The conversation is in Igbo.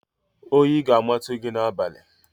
Oyi ga-amatu gị n'abalị!